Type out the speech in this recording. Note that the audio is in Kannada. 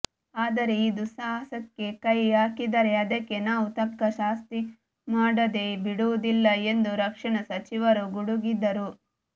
ಆದರೆ ಈ ದುಸ್ಸಾಹಸಕ್ಕೆ ಕೈ ಹಾಕಿದರೆ ಅದಕ್ಕೆ ನಾವು ತಕ್ಕ ಶಾಸ್ತಿ ಮಾಡದೆ ಬಿಡುವುದಿಲ್ಲ ಎಂದು ರಕ್ಷಣಾ ಸಚಿವರು ಗುಡುಗಿದರು